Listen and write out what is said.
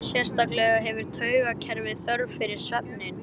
Sérstaklega hefur taugakerfið þörf fyrir svefninn.